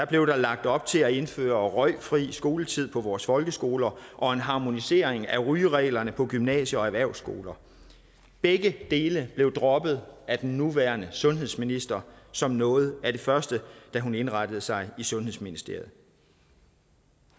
blev der lagt op til at indføre røgfri skoletid på vores folkeskoler og en harmonisering af rygereglerne på gymnasier og erhvervsskoler begge dele blev droppet af den nuværende sundhedsminister som noget af det første da hun indrettede sig i sundhedsministeriet